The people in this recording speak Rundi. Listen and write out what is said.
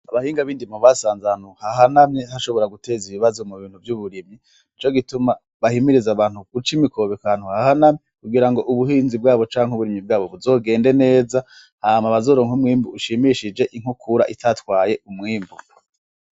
Abahinga b'indimo basanze ahantu hahanamye hashobora guteza ibibazo mubintu vy'uburimyi. Nico gituma bahimiriza abantu guca imikobeko ahantu hahanamye, kugirango ubuhinzi bwabo canke uburimyi bwabo buzogende neza, hama bazoronke umwimbu ushimishije inkukura itatwaye umwimbu.